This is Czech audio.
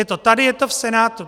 Je to tady, je to v Senátu.